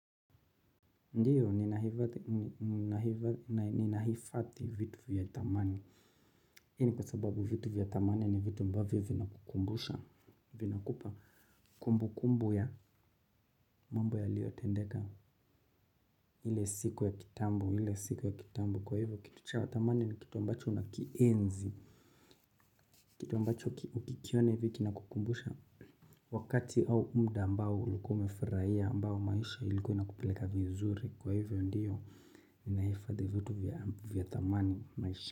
Ndiyo, ninahifadhi vitu vya thamani. Hii ni kwa sababu vitu vya thamani ni vitu ambavyo vinakukumbusha, vinakupa kumbukumbu ya mambo yaliyotendeka. Ile siku ya kitambo, ile siku ya kitambo kwa hivyo kitu cha thamani ni kitu ambacho unakienzi. Kitu ambacho ukikiona hivi kinakukumbusha. Wakati au mda ambao ulikuwa umefuraia ambao maisha ilikuwa inakupeleka vizuri kwa hivyo ndiyo. Ninahifadhi vitu vya thamani maisha.